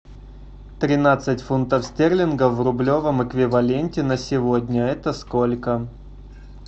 тринадцать фунтов стерлингов в рублевом эквиваленте на сегодня это сколько